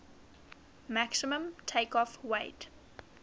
maximum takeoff weight